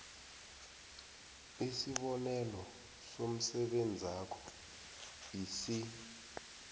isibonelo somsebenzakho isib